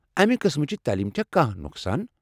امہ قٕسمٕچہ تعلیمہ چھا کانٛہہ نۄقصان؟